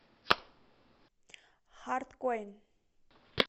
хард коин